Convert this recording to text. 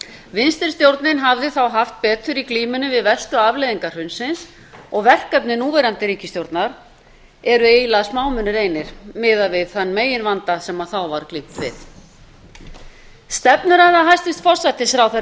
vinstri stjórnin hafði þá haft betur í glímunni við verstu afleiðingar hrunsins og verkefni núverandi ríkisstjórnar eru eiginlega smámunir einir miðað við þann meginvanda sem þá var glímt við stefnuræða hæstvirts forsætisráðherra